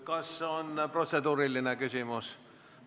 Kas protseduuriline küsimus?